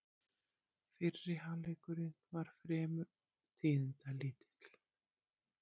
Fyrri hálfleikurinn var fremur tíðindalítill